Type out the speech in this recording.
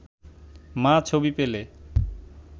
মা ছবি পেলে